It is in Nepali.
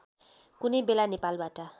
कुनै बेला नेपालबाट